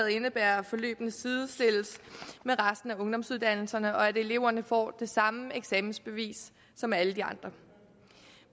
indebærer at forløbene sidestilles med resten af ungdomsuddannelserne og at eleverne får det samme eksamensbevis som alle de andre